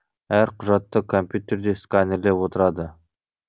әр құжатты компьютерде сканерлеп отырады